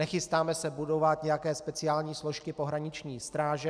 Nechystáme se budovat nějaké speciální složky pohraniční stráže.